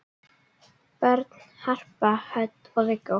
Börn: Harpa Hödd og Viggó.